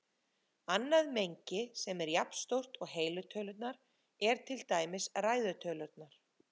Annað mengi sem er jafnstórt og heilu tölurnar er til dæmis ræðu tölurnar.